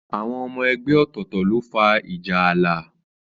Àwọn ọmọ ẹgbẹ́ ọ̀tọ̀ọ̀tọ̀ ló fa ìjà ààlà.